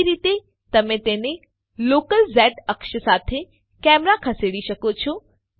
બીજી રીતે તમે તેની લોકલ ઝ અક્ષ સાથે કેમેરા ખસેડી શકો છો